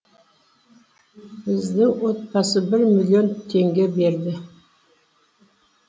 біздің отбасы бір миллион теңге берді